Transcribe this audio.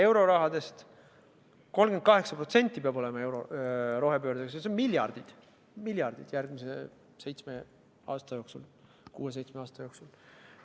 Eurorahadest 38% peab minema rohepöördeks, seda on miljardeid järgmise 6–7 aasta jooksul.